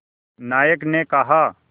नायक ने कहा